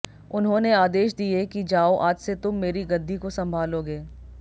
उन्होंने आदेश दिए कि जाओ आज से तुम मेरी गद्दी को संभालोगे